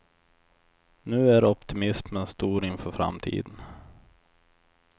Nu är optimismen stor inför framtiden.